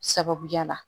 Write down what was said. Sababuya la